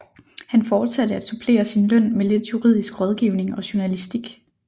Han fortsatte at supplere sin løn med lidt juridisk rådgivning og journalistik